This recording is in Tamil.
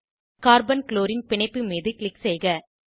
கார்பன் க்ளோரின் பிணைப்பு மீது க்ளிக் செய்க